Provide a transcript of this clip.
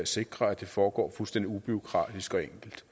sikrer at det foregår fuldstændig ubureaukratisk og enkelt